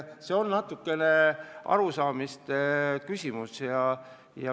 See on natukene arusaamise küsimus.